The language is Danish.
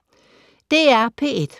DR P1